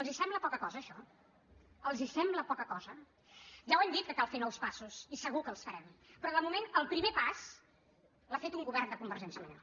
els sembla poca cosa això els sembla poca cosa ja ho hem dit que cal fer nous passos i segur que els farem però de moment el primer pas l’ha fet un govern de convergència i unió